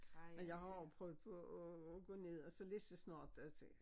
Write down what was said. Men jeg har jo prøvet på at gå ned og så lige så snart der tænkte jeg